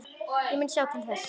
Ég mun sjá til þess.